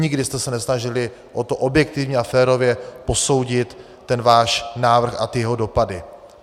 Nikdy jste se nesnažili o to objektivně a férově posoudit ten váš návrh a jeho dopady.